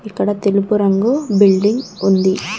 ఇక్కడ తెలుపు రంగు బిల్డింగ్ ఉంది.